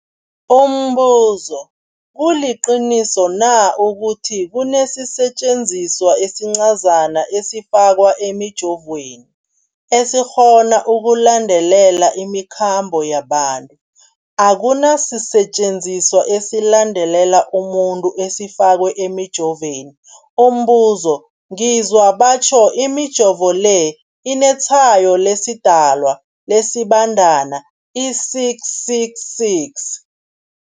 Umbuzo, kuliqiniso na ukuthi kunesisetjenziswa esincazana esifakwa emijovweni, esikghona ukulandelela imikhambo yabantu? Akuna sisetjenziswa esilandelela umuntu esifakwe emijoveni. Umbuzo, ngizwa batjho imijovo le inetshayo lesiDalwa, lesiBandana i-666.